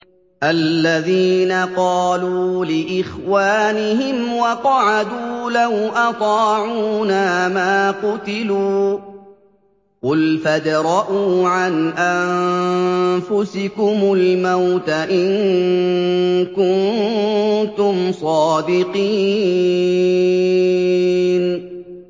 الَّذِينَ قَالُوا لِإِخْوَانِهِمْ وَقَعَدُوا لَوْ أَطَاعُونَا مَا قُتِلُوا ۗ قُلْ فَادْرَءُوا عَنْ أَنفُسِكُمُ الْمَوْتَ إِن كُنتُمْ صَادِقِينَ